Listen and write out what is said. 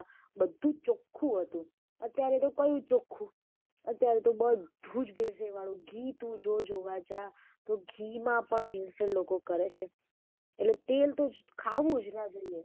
બધુ જ ચોખ્ખું હતું અત્યારે તો કયું ચોખ્ખું, અત્યારે તો બધુ જ ભેળ સેળ વાળું ઘી તું જોવા જા તો ઘી માં પણ ભેળ સેળ લોકો કરે છે એટલે તેલ તો ખાવુંજ ન જોઈએ.